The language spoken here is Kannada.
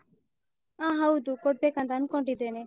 ಹ ಹೌದು. ಕೊಡ್ಬೇಕಂತ ಅನ್ಕೊಂಡಿದ್ದೇನೆ.